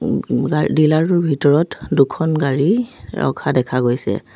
ওম ওম গা ডিলাৰ টোৰ ভিতৰত দুখন গাড়ী ৰখা দেখা গৈছে।